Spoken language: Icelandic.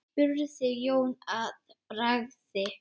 spurði Jón að bragði.